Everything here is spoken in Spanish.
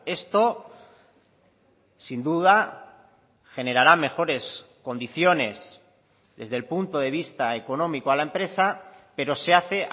esto sin duda generará mejores condiciones desde el punto de vista económico a la empresa pero se hace